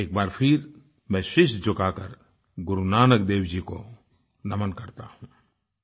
एक बार फिर मैं शीश झुकाकर गुरु नानक देव जी को नमन करता हूँ